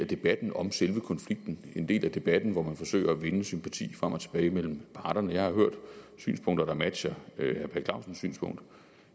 debatten om selve konflikten en del af debatten hvor man forsøger at vinde sympati frem og tilbage mellem parterne jeg har hørt synspunkter der matcher herre per clausens synspunkt